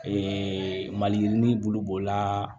maliyirinin bulu b'o la